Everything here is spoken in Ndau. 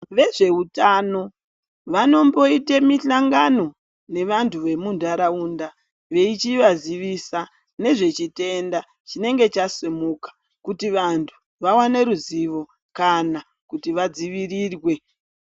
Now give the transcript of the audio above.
Vezvehutano, vanomboite mihlangano nevantu vemundarawunda, veyichivazivisa nezvechitenda chinenge chasimuka , kuti vantu vawane ruziwo kana kuti vadzivirirwe.